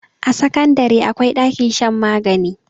a sakandare akwai ɗakin shan magani